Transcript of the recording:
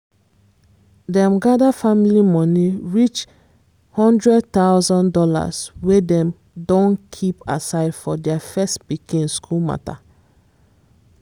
dem gather family money reach one thousand dollars00 wey dem don keep aside for their first pikin school matter.